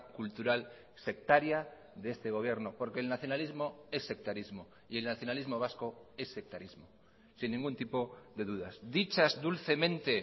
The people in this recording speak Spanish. cultural sectaria de este gobierno porque el nacionalismo es sectarismo y el nacionalismo vasco es sectarismo sin ningún tipo de dudas dichas dulcemente